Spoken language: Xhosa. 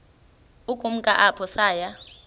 ukumka apho saya